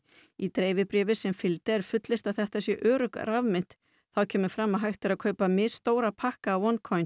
í dreifibréfi sem fylgdi er fullyrt að þetta sé örugg rafmynt þá kemur fram að hægt sé að kaupa misstóra pakka af